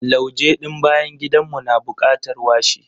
Lauje ɗin bayan gidan mu na bukatar washi.